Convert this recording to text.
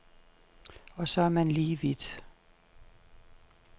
Og så er man lige vidt.